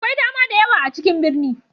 Akwai dama da yawa a cikin birni.